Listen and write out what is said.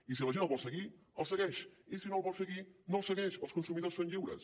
i si la gent el vol seguir el segueix i si no el vol seguir no el segueix els consumidors són lliures